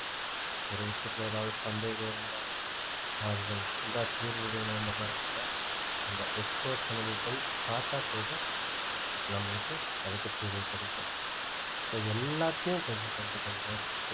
ஒரு விஷயத்துல ஏதாவது சந்தேகம் இருந்தா தீர்வு வேணுன்ற மாதிரி இருந்தா அந்த experts அ நம்ம போய் பார்த்தா போதும் நம்மளுக்கு அதைப் பற்றிகள் தெரியும் so எல்லாத்தையும் கொஞ்சம் கொஞ்சம் கொஞ்சம் கொஞ்சம்